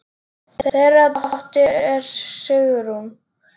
Þeirra dóttir er Sigrún.